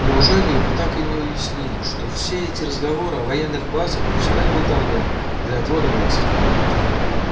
неужели вы так и не уяснили что все эти разговоры о военных базах пустая болтовня для отвода глаз